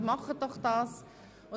Füllen Sie sie doch aus.